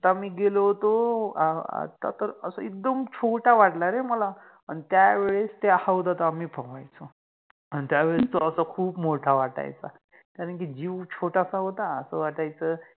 आत्ता मि गेलो होतो अ आत्ता तर अस एकदम छोटा वाटला रे मला आणि त्यावेळेस त्या हौदात आम्ही पोवायचो आणि त्यावेळेस तो खुप मोठा वाटायचा कारण कि जिव छोटासा होता त अस वाटायच